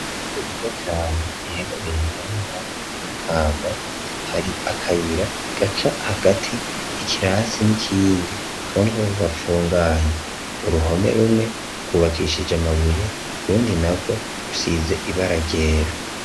Inzu nziza cane iherereye mu ntara ya Makamba hari akayira gaca hagati y'ikirasi n'ikindi kaboneka ko gafunganye, uruhome rumwe rwubakishije amabuye urundi narwo rusize ibara ryera.